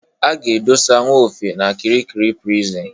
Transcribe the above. A ga-edosa Nwofe n'Kirikiri Prison.